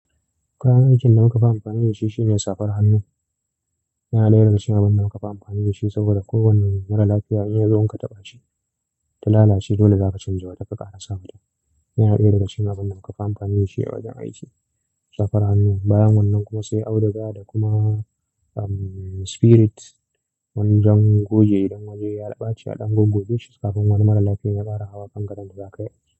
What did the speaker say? Kayan aikin da muka fi amfani da shi shine safar hannu. Yana daya daga cikin abin da muka fi amfani da shi saboda kowane mara lafiya in ya zo in ka taɓa shi, ta lalace dole zaka canjawa, tafi ka haɗa sabon. Yana daya daga cikin abin da muka fi amfani da shi a wajen aiki. Safar hannu, bayan wannan kuma sai auduga da kuma umm spirit. Wanjan goge idan waje ya ɓace a ɗan goggoje shi kafin wani mara lafiya ya ƙara hawa kan gadon da za ka yi.